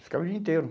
Ficava o dia inteiro.